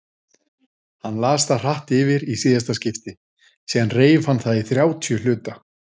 Hann las það hratt yfir í síðasta skipti, síðan reif hann það í þrjátíu hluta.